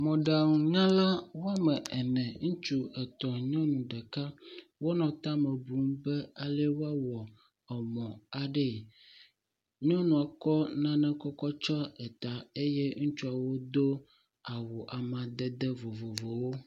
Mɔɖaŋunyala wɔme ene. Ŋutsu etɔ̃ nyɔnu ɖeka wonɔ tame bu be ale woawɔ emɔ aɖee. Nyɔnua kɔ nane kɔkɔ tsɔ eta eye ŋutsuawo do awu amadede vovovowo.